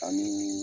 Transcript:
Ani